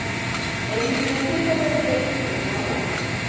Einu sinni eða tvisvar var ég rekinn úr vinnu á Hótel